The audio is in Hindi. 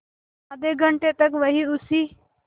आधे घंटे तक वहीं उसी